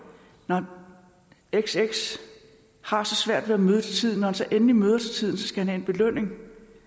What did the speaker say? når xx har så svært ved at møde til tiden han så endelig møder til tiden skal han have en belønning